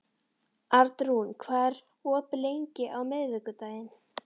Arnrún, hvað er opið lengi á miðvikudaginn?